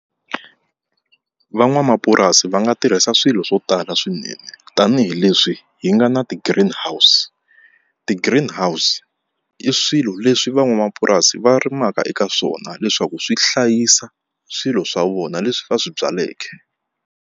Van'wamapurasi va nga tirhisa swilo swo tala swinene tanihileswi hi nga na ti-greenhouse ti-greenhouse i swilo leswi van'wamapurasi va rimaka eka swona leswaku swi hlayisa swilo swa vona leswi va swi byaleke.